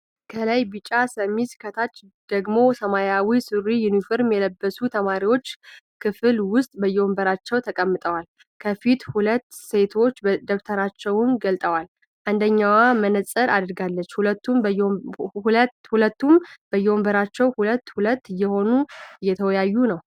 ከላይ ቢጫ ሸሚዝ ከታች ደግሞ ሰማያዊ ሱሪ ዩኒፎርም የለበሱ ተማሪዎች ክፍል ዉስጥ በየወንበራቸዉ ተቀምጠዋል። ከፊት ሁለት ሴቶች ደብተራቸዉን ገልጠዋል። አንደኛዋ መነፀር አድርጋለች። ሁሉም በየወንበራቸዉ ሁለት ሁለት እየሆኑ እየተወያዩ ነዉ።